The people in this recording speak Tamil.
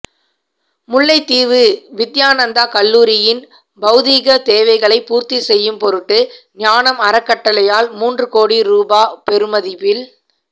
முல்லைத்தீவு வித்தியானந்தா கல்லூரியின் பௌதீக தேவைகளை பூர்த்தி செய்யும் பொருட்டு ஞானம் அறக்கட்டளையால் மூன்று கோடி ரூபா பெறுமதியில்